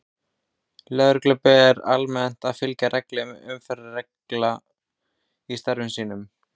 Lögreglu ber almennt að fylgja reglum umferðarlaga í störfum sínum.